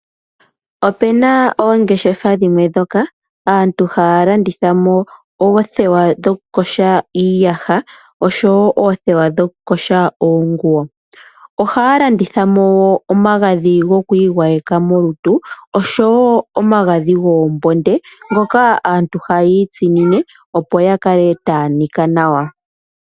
Opuna oongeshefa dhimwe ndhoka aantu haya landitha mo oothewa dhoku yoga iiyaha osho wo oothewa dhoku yoga oonguwo. Ohaya landitha mo woo omagadhi gokwiigwayeka molutu osho wo omagadhi goombonde ngoka aantu haya itsinine opo ya kale taya nika nawa.